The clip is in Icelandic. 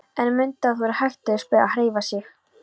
En mundu að það er hættuspil að hreyfa sig.